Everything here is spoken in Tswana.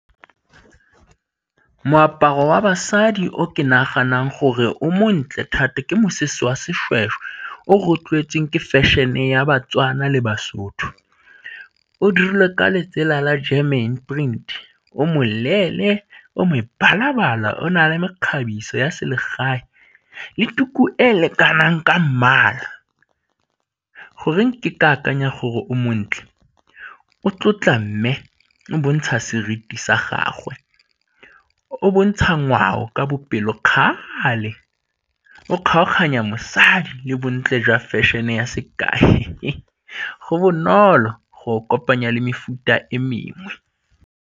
Moaparo wa basadi o ke naganang gore o montle thata ke mosese wa seshweshwe o re o tlwaetseng ke fashion-e ya baTswana le basotho, o dirilwe ka letsela la German print o moleele o mebala-bala, o na le mekgabiso ya selegae le tuku e e lekanang ka mmala. Goreng ke ke akanya gore o montle? O tlotla mme bontsha seriti sa gagwe, o bontsha ngwao ka bopelokgale, o kgaoganya mosadi le bontle jwa fashion-e ya , go bonolo go kopanya le mefuta e mengwe.